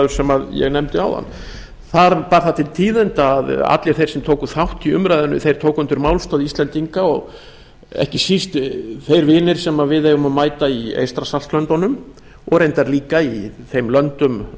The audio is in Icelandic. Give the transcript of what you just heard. sem ég nefndi áðan þar bar það til tíðinda að allir þeir sem tóku þátt í umræðunni tóku undir málstað íslendinga ekki síst þeir vinir sem við eigum að mæta í eystrasaltslöndunum og reyndar líka í þeim löndum